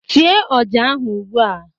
Tiee ọja ahu ụgbụa!